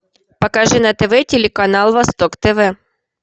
покажи на тв телеканал восток тв